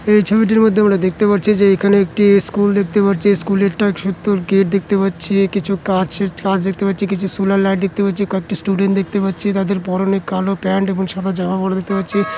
এই ছবিটির মধ্যে আমরা দেখতে পারছি যে এখানে একটি স্কুল দেখতে পারছি। স্কুলের টা খেতর একটা গেট দেখতে পাচ্ছি কিছু কাচের কাচ দেখতে পাচ্ছি। কিছু সোলার লাইট দেখতে পাচ্ছি। কয়েকটি স্টুডেন্ট দেখতে পাচ্ছি। তাদের পরনে কালো প্যান্ট এবং সাদা জামা পড়া দেখতে পাচ্ছি ।